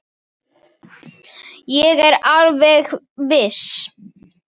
Ég er alveg viss.